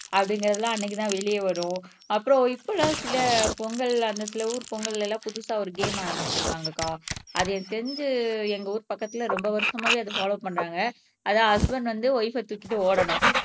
அப்படிங்கிறது எல்லாம் அன்னைக்குதான் வெளியே வரும் அப்புறம் இப்ப எல்லாம் சில பொங்கல் அந்த சில ஊர் பொங்கல்ல எல்லாம் புதுசா ஒரு கேம் ஆரம்பிச்சிருக்காங்க அக்கா அது எனக்கு தெரிஞ்சு எங்க ஊர் பக்கத்துல ரொம்ப வருஷமாவே அத பால்லோவ் பண்றாங்க அதான் ஹஸ்பண்ட் வந்து வய்ப்ப ஆஹ் தூக்கிட்டு ஓடணும்